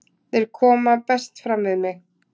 Þeir koma best fram við mig.